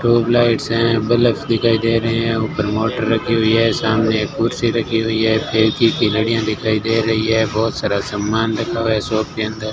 tubelights है bulb दिखाई दे रहे है ऊपर मोटर रखी हुई है सामने एक कुर्सी रखी हुई है फेरकी की घड़ियां दिखाई दे रही है बहोत सारा समान रखा हुआ है शॉप के अंदर --